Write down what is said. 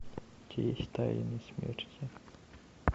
у тебя есть тайны смерти